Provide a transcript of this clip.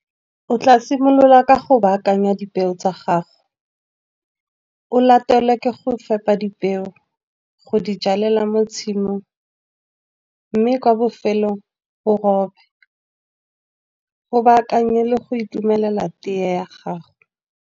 O tla simolola ka go baakanya dipeo tsa gago. O latelwa ke go fepa dipeo go di jalela mo tshimong, mme kwa bofelong o robe. O baakanye le go itumelela teye ya gago.